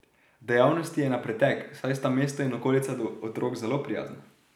Dejavnosti je na pretek, saj sta mesto in okolica do otrok zelo prijazna.